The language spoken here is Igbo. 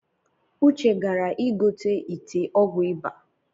Uche gara igote ite ọgwụ ịba